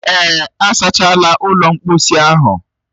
Èè, a sachaala ụlọ mkposi ahụ